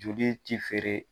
Joli ti feere.